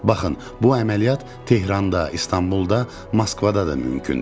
Baxın, bu əməliyyat Tehranda, İstanbulda, Moskvada da mümkündür.